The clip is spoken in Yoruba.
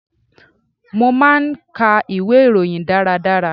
Mo máa ń ka ìwé ìròyìn dára dára.